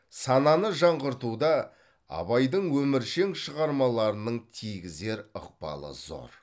сананы жаңғыртуда абайдың өміршең шығармаларының тигізер ықпалы зор